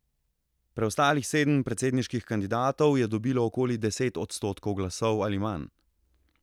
Preostalih sedem predsedniških kandidatov je dobilo okoli deset odstotkov glasov ali manj.